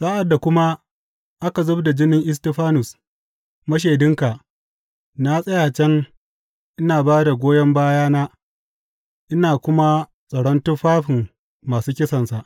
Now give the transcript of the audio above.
Sa’ad da kuma aka zub da jinin Istifanus mashaidinka, na tsaya can ina ba da goyon bayana ina kuma tsaron tufafin masu kisansa.’